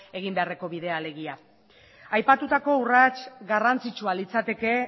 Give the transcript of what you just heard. egin beharreko bidea alegia aipatutako urrats garrantzitsua litzateke